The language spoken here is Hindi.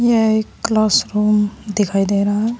यह एक क्लास रूम दिखाई दे रहा है।